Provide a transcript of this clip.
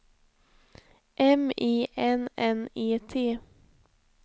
M I N N E T